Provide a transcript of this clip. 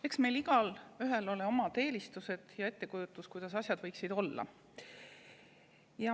Eks meil igaühel ole omad eelistused ja ettekujutus, kuidas asjad võiksid olla.